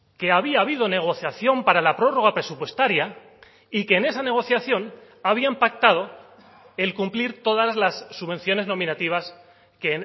que había habido negociación para la prórroga presupuestaria y que en esa negociación habían pactado el cumplir todas las subvenciones nominativas que